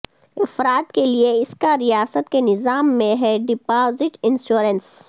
افراد کے لئے اس کا ریاست کے نظام میں ہے ڈپازٹ انشورنس